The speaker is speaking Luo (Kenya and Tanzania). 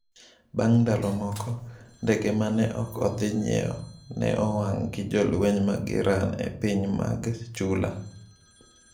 Bang’ ndalo moko, ndege ma ne ok odhi ng’iewo ne owang’ gi jolweny mag Iran e pinje mag Chula.